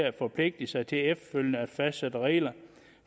at forpligte sig til efterfølgende at fastsætte regler